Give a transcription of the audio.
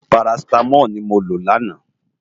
Párásitámòl ni mó ló làná